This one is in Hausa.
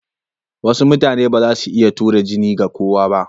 Wasu mutane ba za su iya tura jini ga kowa ba.